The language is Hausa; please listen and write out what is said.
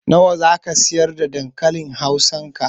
Nawa zaka siyar da dankalin hausa ka?